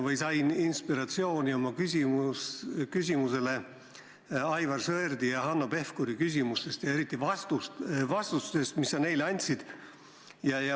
Ma sain oma küsimusele inspiratsiooni Aivar Sõerdi ja Hanno Pevkuri esitatud küsimustest ja eriti vastustest, mis sa neile andsid.